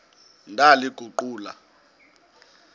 ndaliguqula